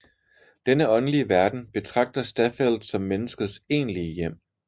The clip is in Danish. Denne åndelige verden betragter Staffeldt som menneskets egentlige hjem